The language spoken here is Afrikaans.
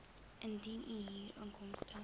indien u huurinkomste